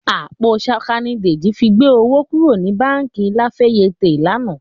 Àpò ṣaka ni Dèjì fi gbé owó kúrò ní báǹkì La Fayette lánàá